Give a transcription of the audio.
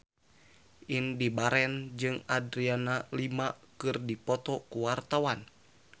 Indy Barens jeung Adriana Lima keur dipoto ku wartawan